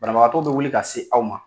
Banabagatɔ bɛ wuli ka se aw ma.